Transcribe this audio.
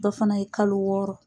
Dɔ fana ye kalo wɔɔrɔ.